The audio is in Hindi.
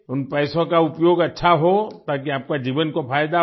उन पैसों का उपयोग अच्छा हो ताकि आपका जीवन को फायदा हो